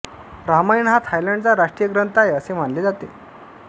रामायण हा थायलंडचा राष्ट्रीय ग्रंंथ आहे असे मानले जाते